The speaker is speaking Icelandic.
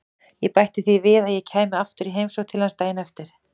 Ég bætti því við að ég kæmi aftur í heimsókn til hans daginn eftir.